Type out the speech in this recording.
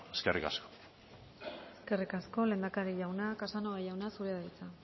eskerrik asko eskerrik asko lehendakari jauna casanova jauna zurea da hitza